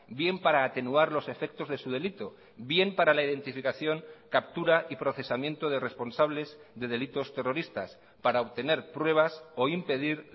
bien para atenuar los efectos de su delito bien para la identificación captura y procesamiento de responsables de delitos terroristas para obtener pruebas o impedir